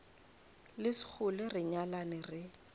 le sekgole re nyalane re